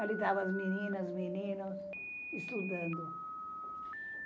Ali estavam as meninas, meninos, estudando.